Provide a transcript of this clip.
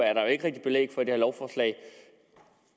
er der jo ikke rigtig belæg for i det her lovforslag